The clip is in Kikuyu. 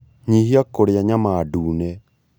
Nyihia kũrĩa nyama ndune